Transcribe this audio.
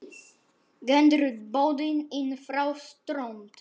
Gengur bótin inn frá strönd.